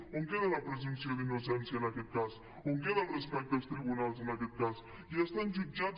on queda la presumpció d’innocència en aquest cas on queda el respecte als tribunals en aquest cas ja estan jutjats